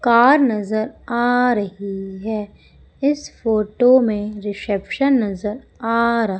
car नजर आ रही है इस फोटो में रिसेप्शन नजर आ रहा--